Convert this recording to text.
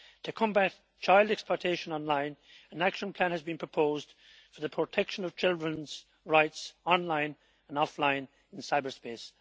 To combat child exploitation online, an action plan has been proposed for the protection of children's rights online and offline in cyberspace.